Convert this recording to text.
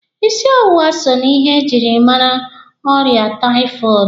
Ịsị ọwụwa so na ihe e jiri mara ọrịa taifọọdụ.